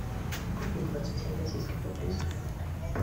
купить двадцать семь российских рублей стоимость